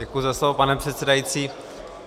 Děkuji za slovo, pane předsedající.